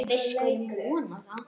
Við skulum vona það.